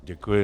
Děkuji.